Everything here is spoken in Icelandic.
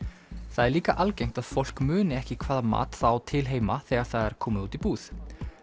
það er líka algengt að fólk muni ekki hvaða mat það á til heima þegar það er komið út í búð